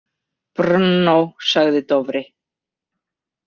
Brno, sagði Dofri.